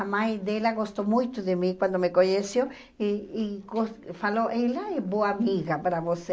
a mãe dela gostou muito de mim quando me conheceu e e gos falou, ela é boa amiga para você.